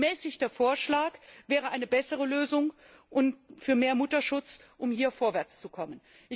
Ein gemäßigter Vorschlag wäre eine bessere Lösung für mehr Mutterschutz, um hier vorwärtszukommen.